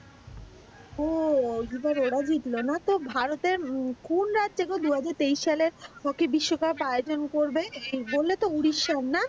ও ওই বার ওরা জিতলো না ভারতের কোন রাজ্য গো দুহাজার তেইশ এ হকি বিশ্বকাপ আয়োজন করবে বলে তো উড়িষ্যা না।